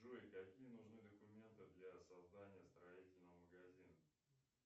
джой какие нужны документы для создания строительного магазина